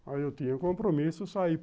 Aí eu tinha o compromisso, sair.